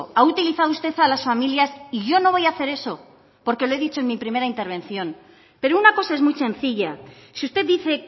ha utilizado usted a las familias y yo no voy a hacer eso porque lo he dicho en mi primera intervención pero una cosa es muy sencilla si usted dice